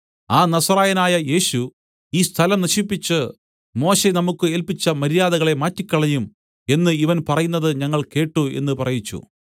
ആ നസറായനായ യേശു ഈ സ്ഥലം നശിപ്പിച്ച് മോശെ നമുക്ക് ഏല്പിച്ച മര്യാദകളെ മാറ്റിക്കളയും എന്ന് ഇവൻ പറയുന്നത് ഞങ്ങൾ കേട്ട് എന്ന് പറയിച്ചു